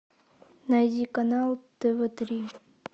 найди канал тв три